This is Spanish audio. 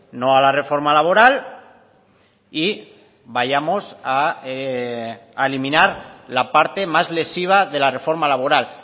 no a la reforma laboral y vayamos a eliminar la parte más lesiva de la reforma laboral